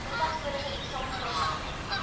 bevat vorige eksamenvraestelle